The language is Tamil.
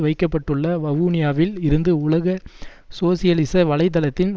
வைக்க பட்டுள்ள வவுனியாவில் இருந்து உலக சோசியலிச வலை தளத்தின்